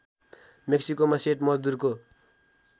मेक्सिकोमा सेट मजदुरको